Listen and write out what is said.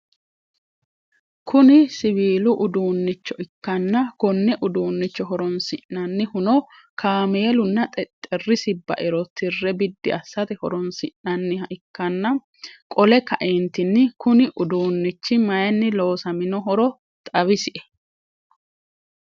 Kuni siwiilu uduunichcho ikkana konne uduunicho horonssinanihuno kaameelunna xexerisi bairo tire biddi assate horonsinaniha ikkana qole kaeenttinni Kuni uduunnichi mayiinni loosaminohoro xawisie ?